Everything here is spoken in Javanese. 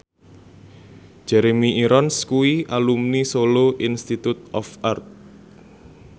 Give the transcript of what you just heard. Jeremy Irons kuwi alumni Solo Institute of Art